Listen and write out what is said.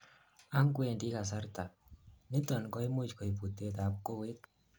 angwendi kasarta, niton koimuch koib butet ab kowet